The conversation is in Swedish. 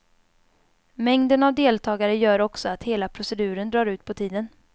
Mängden av deltagare gör också att hela proceduren drar ut på tiden.